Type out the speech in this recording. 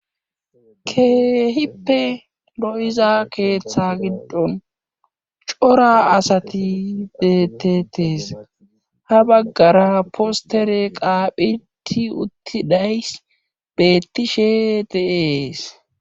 keehippe lo7iza keeththa giddon cora asati detetes ha baggara postere qaaphiti uttidays beettishe deees